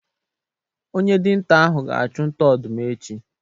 Onye dinta ahụ ga-achu nta ọdụm echi